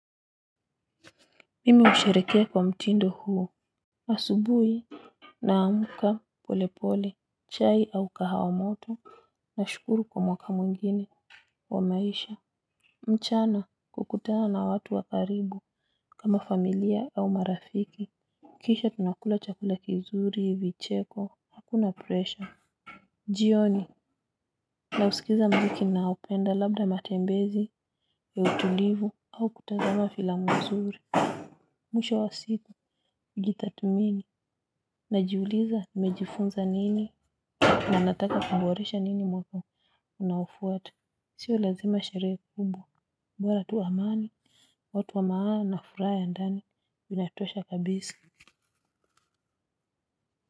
Mimi husherehekea kwa mtindo huu. Asubuhi naamka polepole, chai au kahawa moto, nashukuru kwa mwaka mwingine wa maisha. Mchana kukutana na watu wa karibu kama familia au marafiki. Kisha tunakula chakula kizuri, vicheko, hakuna presha. Jioni, nausikiza mziki naopenda labda matembezi ya utulivu au kutazama filamu nzuri. Mwisho wa siku gitathmini. Najiuliza nimejifunza nini? Na nataka kuboresha nini mwaka unaofuata. Sio lazima sherehe kubwa, bora tu amani. Watu wa maana na furaha ya ndani inatosha kabisi.